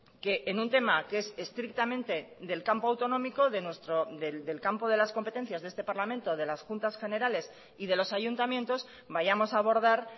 que en un tema que es estrictamente del campo autonómico del campo de las competencias de este parlamento de las juntas generales y de los ayuntamientos vayamos a abordar